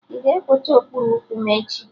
Ị ga-ekwocha okpuru ụkwụ m echi?